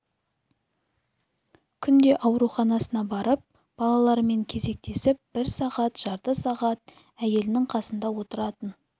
күнде ауруханасына барып балаларымен кезектесіп бір сағат жарты сағат әйелінің қасында отыратын